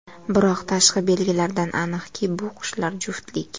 Biroq tashqi belgilaridan aniqki, bu qushlar juftlik.